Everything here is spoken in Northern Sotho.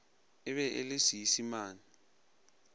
e be e le seisemane